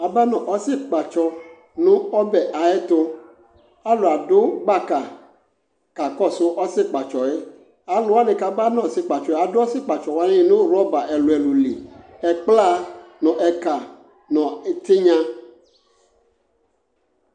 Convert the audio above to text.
Aba nʋ ɔsɩkpatsɔ nʋ ɔbɛ ayɛtʋ, k'alʋadʋ gbaka kakɔsʋ ɔsɩkpatsɔ yɛ Alʋwanɩ k'aba n'ɔsɩkpatsɔɛ adʋ ɔsɩkpatsɔwanɩ nʋ rɔba ɛlʋɛlʋ li ɛkpla nʋ ɛka , nʋ ɛtɩnya